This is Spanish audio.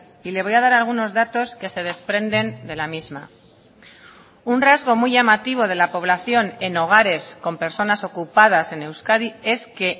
y le voy a dar algunos datos que se desprenden de la misma un rasgo muy llamativo de la población en hogares con personas ocupadas en euskadi es que